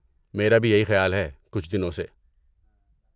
میرا بھی یہی خیال ہے، کچھ دنوں سے۔